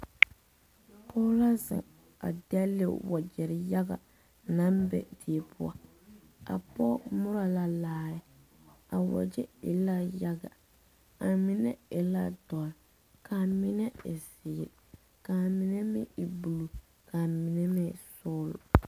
Pɔge la ziŋ a delle wakyɛrɛ yaga naŋ be diepoɔ,a pɔge moro la laare,a wakyɛrɛ e la yaga a mine e la doroo, ka a mine zeere, ka a mine meŋ blue, ka mine meŋ e soglo